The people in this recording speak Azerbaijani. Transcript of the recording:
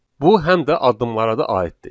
Bu həm də addımlara da aiddir.